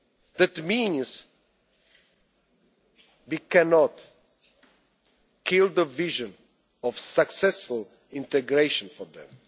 to give up on them. That means we cannot kill the vision of successful